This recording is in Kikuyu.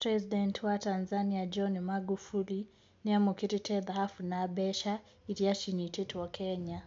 President wa Tanzania John Magufuli niamũkirite thahabu na mbeca iria cinyitetwo Kenya.